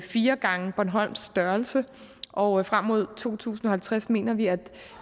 fire gange bornholms størrelse og frem mod to tusind og halvtreds mener vi at